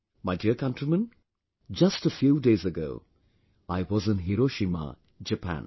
My dear countrymen, just a few days ago I was in Hiroshima, Japan